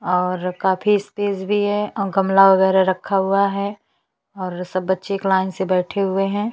यह स्कूल है और स्कूल में काफी बच्चे बैठे है और यहाँ पे जो है अम्म एक्साम लिया जा रहा है।